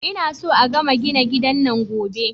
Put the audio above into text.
Ina so a gama gina gidan nan Gobe